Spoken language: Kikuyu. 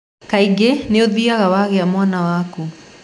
Kaingĩ nũthiaga wagĩa mwana waku.